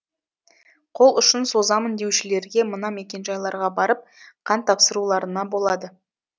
қол ұшын созамын деушілерге мына мекенжайларға барып қан тапсыруларына болады